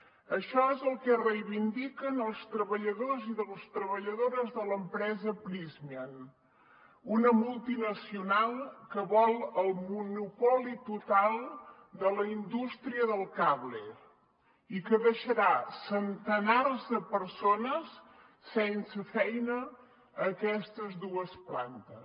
això és el que reivindiquen els treballadors i les treballadores de l’empresa prysmian una multinacional que vol el monopoli total de la indústria del cable i que deixarà centenars de persones sense feina a aquestes dues plantes